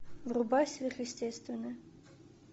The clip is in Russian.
врубай сверхъестественное